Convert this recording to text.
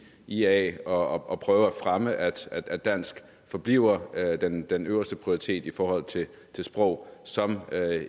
ia og og prøve at fremme at at dansk forbliver den den øverste prioritet i forhold til sprog som